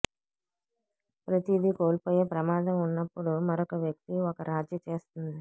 ప్రతిదీ కోల్పోయే ప్రమాదం ఉన్నప్పుడు మరొక వ్యక్తి ఒక రాజీ చేస్తుంది